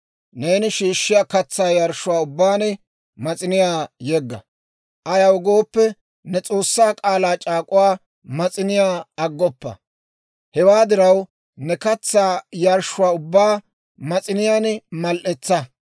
Neeni shiishshiyaa katsaa yarshshuwaa ubbaan mas'iniyaa yegga; ayaw gooppe, ne S'oossaa k'aalaa c'aak'uwaa mas'iniyaa aggoppa. Hewaa diraw ne katsaa yarshshuwaa ubbaa mas'iniyaan mal"etsa.